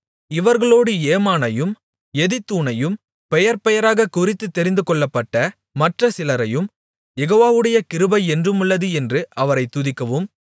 இவர்களோடு ஏமானையும் எதித்தூனையும் பெயர்பெயராகக் குறித்துத் தெரிந்துகொள்ளப்பட்ட மற்ற சிலரையும் யெகோவாவுடைய கிருபை என்றுமுள்ளது என்று அவரைத் துதிக்கவும்